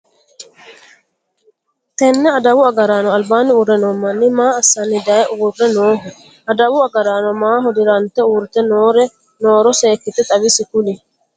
Tenne adawu agaraano albaanni uure noo manni maa asira daye uure Nooho? Adawu agaraano maaho dirante uurite nooro seekite xawise Kuli?